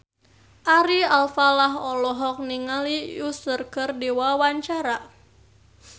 Ari Alfalah olohok ningali Usher keur diwawancara